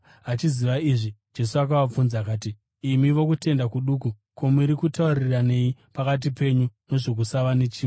Achiziva izvi Jesu akavabvunza akati, “Imi vokutenda kuduku, ko, muri kutauriranei pakati penyu nezvokusava nechingwa?